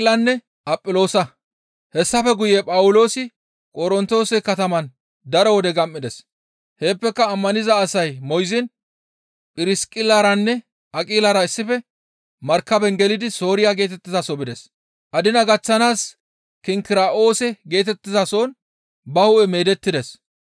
Hessafe guye Phawuloosi Qorontoose kataman daro wode gam7ides; heeppeka ammaniza asay moyziin Phirsiqillaranne Aqilara issife markaben gelidi Sooriya geetettizaso bides; adina gaththanaas Kinkira7oose geetettizason ba hu7e meedettides.